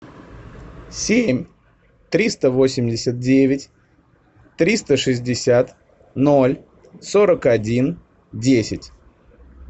семь триста восемьдесят девять триста шестьдесят ноль сорок один десять